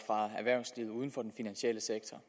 fra erhvervslivet uden for den finansielle sektor